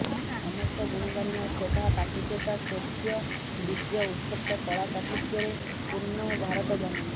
ସମସ୍ତ ଗୁଣ ଗାରିମା ଶୋଭା ପ୍ରାଚୁର୍ଯ୍ୟତା ଶୌର୍ଯ୍ୟ ବୀର୍ଯ୍ୟ ଉତ୍କର୍ଷ କଳା ଚାତୁର୍ଯ୍ୟରେ ପୂର୍ଣ୍ଣ ଭାରତ ଜନନୀ